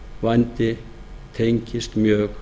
vændi tengist mjög